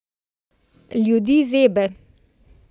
Ljudi zebe.